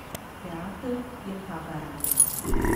Teater je pa garanje.